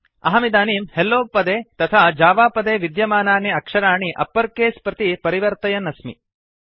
अहमिदानीं hello पदे तथा java पदे विद्यमानानि अक्षराणि अप्पर् केस् प्रति परिवर्तयन् अस्मि